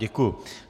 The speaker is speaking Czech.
Děkuji.